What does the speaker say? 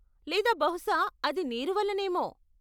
లేదా బహుశా అది నీరు వల్లనేమో.